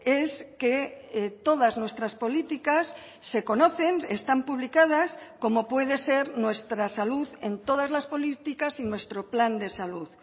es que todas nuestras políticas se conocen están publicadas como puede ser nuestra salud en todas las políticas y nuestro plan de salud